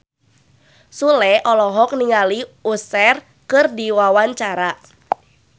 Sule olohok ningali Usher keur diwawancara